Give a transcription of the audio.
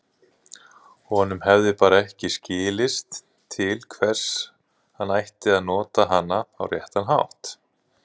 Honum hefði bara ekki skilist til hvers hann ætti að nota hana á réttan hátt.